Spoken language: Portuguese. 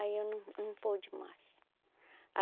Aí eu não não pude mais.